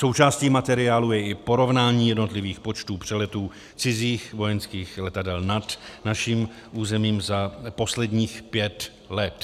Součástí materiálu je i porovnání jednotlivých počtů přeletů cizích vojenských letadel nad naším územím za posledních pět let.